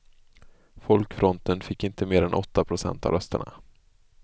Folkfronten fick inte mer än åtta procent av rösterna.